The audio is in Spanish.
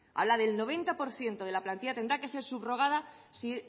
habla del noventa por ciento de la plantilla tendrá que ser subrogada si